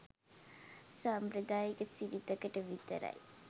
සාම්ප්‍රදායික සිරිතකට විතරයි.